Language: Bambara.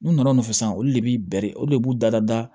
N'u nana o nɔfɛ sisan olu de b'i bɛɛrɛ olu de b'u dada dada